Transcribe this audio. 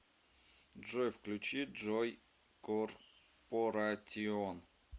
джой включи джой корпоратион